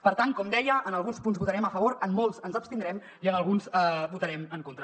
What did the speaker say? per tant com deia en alguns punts votarem a favor en molts ens abstindrem i en alguns votarem en contra